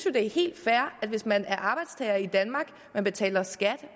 det er helt fair at hvis man er arbejdstager i danmark man betaler skat